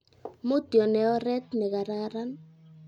mutyo ne oret ne kararan